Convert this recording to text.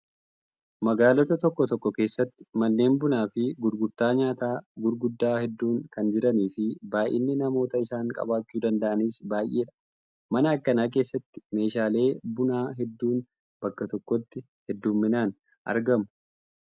Magaalota tokko tokko keessatti manneen bunaa fi gurgurtaa nyaataa gurguddaa hedduun kan jiranii fi baay'inni namoota isaan qabachuu danda'aniis baay'eedha. Mana akkanaa keessattis meeshaalee bunaa hedduun bakka tokkotti hedduminaan argamu.